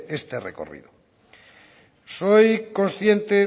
este recorrido soy consciente